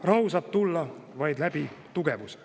Rahu saab tulla vaid läbi tugevuse.